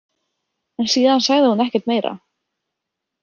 En síðan sagði hún ekkert meira.